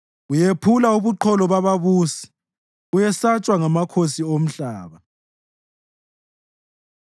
Uyephula ubuqholo bababusi; uyesatshwa ngamakhosi omhlaba.